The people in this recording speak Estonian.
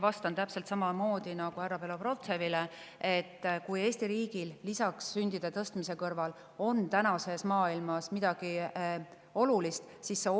Vastan täpselt samamoodi nagu härra Belobrovtsevile: kui Eesti riigil on sündide tõstmise kõrval tänases maailmas midagi olulist, siis see